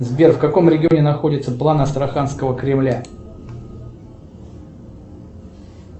сбер в каком регионе находится план астраханского кремля